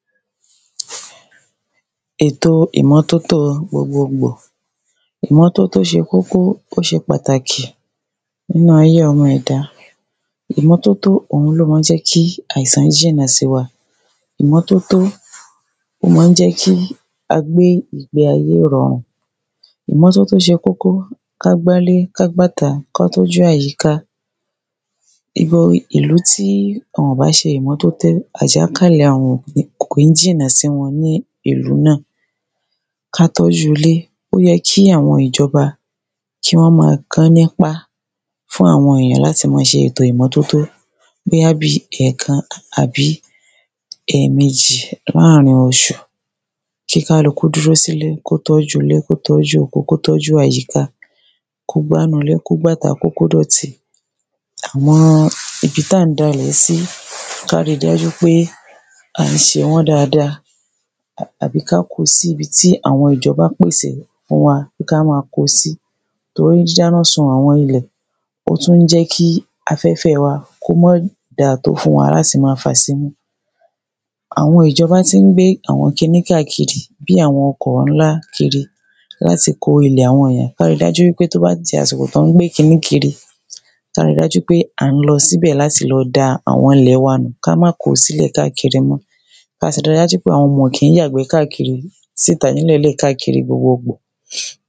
Èto ìmọ́tótó gbogbogbò. Ìmọ́tótó ṣe kókó, ó ṣe pàtàkì nínu ayé ọmọ eda. Ìmọ́tótó òun ni ó maá jẹ́ kí àìsàn jìnnà sí wa. Ìmọ́tótó máa ń jẹ́ kí a gbé ìge ayé ìrọ̀rùn Ìmọ́tótó ṣe kókó, ká gbà ilé, ká gbá ìta, ká tọ́jú àyíká. Ìlú tí wọ́n bá ṣe ìmọ́tótó, àjàkálẹ̀ àrùn kò ní jìnà sí wọn ní ìlú náà. ká tọ́ju ilé. Ó yẹ kí àwọn ìjọba kí wọ́n máa kan nípá fún àwọn èyàn láti máa ṣe ìmọ́tótó bóyá bíi ẹ̀kan àbí ẹ̀mejí láàrin oṣù. Kí kálukú dúró sí ilé, kí ó tọ́jú ilé, kí ó tọ́jú oko, kó tọ́jú àyíká, kó gbà inú ilé, kó gbà ìta, kí ó kó dọ̀tí. àwọn ibi tí a ń da ilẹ̀ sí, kí a ríi dájú pé à ń ṣe wọn dáadáa àbí ká kóo sí ibi tí àwọn ìjọba pèsè fún wa pé kí a máa kó sí. torí dida ina sun àwọn ilẹ̀, ó tún jẹ́ kí afẹ́fẹ́ wa kí ó má dáa tó fún wa láti máa fà sí imú. àwọn ìjọba tí ń gbé àwọn kí ni káàkiri, bí àwọn ọkọ̀ nlá kiri láti kó ilẹ̀ àwọn eyàn. Kí a rí dájú pé tí ó bá ti di àsìkò tí wọ́n ti gbé kí ni káàkiri, kí a ríi dájú pé a lọ síbẹ̀ láti lọ da ilẹ̀ wa nù. Ki á máa kó sí ilẹ̀ káàkiri mọ́, Kí a ríi dájú pé àwọn ọmọ wa kì í yàgbẹ́ káàkiri sí ìta ni ilẹ̀ káàkiri gbogboogbò.